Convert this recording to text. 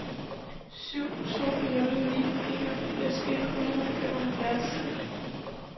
syv to nul ni enogfirs et hundrede og femoghalvfems